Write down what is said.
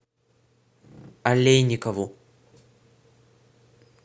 алейникову